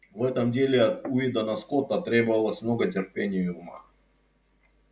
в этом деле от уидона скотта требовалось много терпения и ума